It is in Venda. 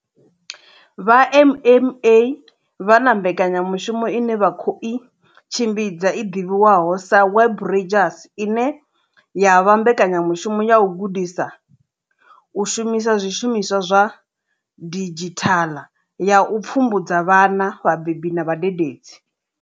Vha MMA vha na mbekanyamushumo ine vha khou i tshimbidza i ḓivhiwaho sa Web Rangers ine ya vha mbekanyamushumo ya u gudisa u shumisa zwishumiswa zwa didzhithaḽa ya u pfumbudza vhana, vhabebi na vhadededzi.